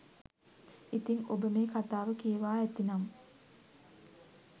ඉතිං ඔබ මේ කතාව කියවා ඇතිනම්